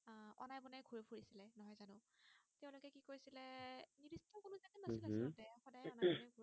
উম হম সদায় আমাৰ